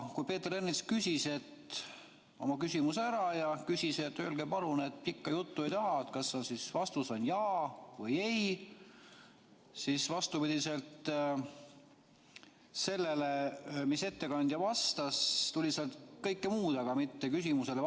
Kui Peeter Ernits oli oma küsimuse ära küsinud ja ütles, et öelge palun, pikka juttu ei taha, kas vastus on jaa või ei, siis vastupidiselt sellele, mida ettekandjalt küsiti, tuli sealt kõike muud, aga mitte vastust küsimusele.